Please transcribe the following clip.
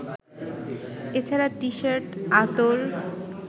এছাড়া টিশার্ট, আতর